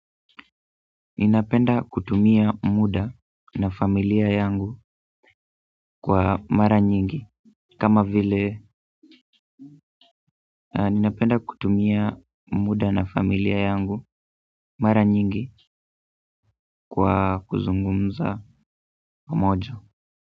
Ninapenda kutumia muda na familia yangu kwa mara nyingi kama vile ninapenda kutumia muda na familia yangu mara nyingi kwa kuzungumza pamoja.